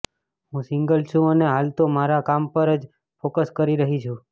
હું સિંગલ છુ અને હાલ તો મારા કામ પર જ ફોકસ કરી રહી છુ